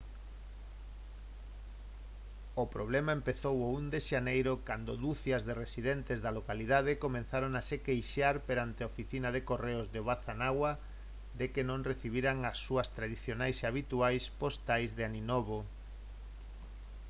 o problema empezou o 1 de xaneiro cando ducias de residentes da localidade comezaron a se queixar perante a oficina de correos de obanazawa de que non recibiran as súas tradicionais e habituais postais de aninovo